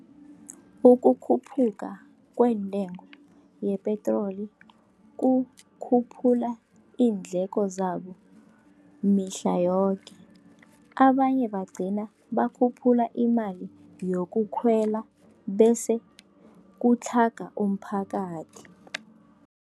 Ukukhuphuka kweentengo yepetroli kukhuphula iindleko zabo mihla yoke. Abanye bagcina bakhuphula imali yokukhwela, bese kutlhaga umphakathi.